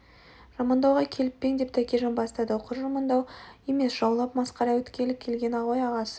жамандауға келіп пе ең деп тәкежан бастады құр жамандау емес жаулап масқара еткелі келген ғой ағасы